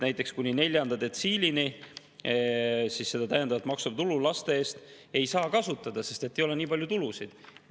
Näiteks kuni neljanda detsiilini seda täiendavat maksutulu laste eest ei saa kasutada, sest ei ole nii palju tulusid.